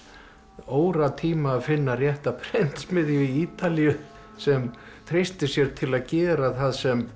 óratíma að finna rétta prentsmiðju á Ítalíu sem treysti sér til að gera það sem